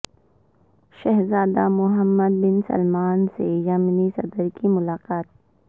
شہزادہ Mohammed bin Salman سے یمنی صدر کی ملاقات